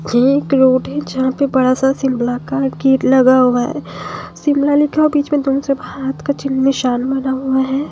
ये एक रोड है जहां पे बड़ा सा सिल ब्लॉक का गेट लगा हुआ है शिमला लिखा हुआ बीच में दोनो तरफ हाथ का ची निशान बना हुआ है।